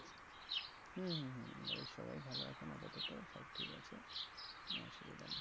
হম হম হম বাড়ির সবাই ভালো এখন আপাতত সব ঠিক আছে কোনো অসুবিধা নেই